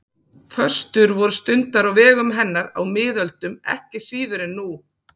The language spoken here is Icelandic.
Föstur voru stundaðar á vegum hennar á miðöldum ekki síður en nú.